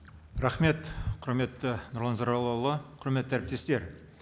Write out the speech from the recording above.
рахмет құрметті нұрлан зайроллаұлы құрметті әріптестер